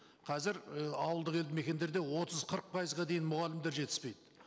қазір і ауылдық елді мекендерде отыз қырық пайызға дейін мұғалімдер жетіспейді